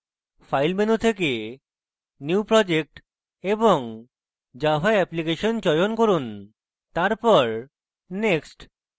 file menu থেকে new project এবং java application চয়ন from তারপর next